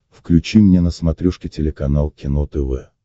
включи мне на смотрешке телеканал кино тв